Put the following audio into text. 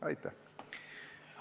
Aitäh!